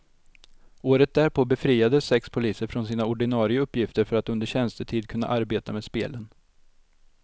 Året därpå befriades sex poliser från sina ordinare uppgifter för att under tjänstetid kunna arbeta med spelen.